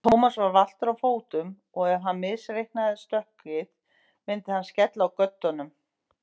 Thomas var valtur á fótum og ef hann misreiknaði stökkið myndi hann skella á göddunum.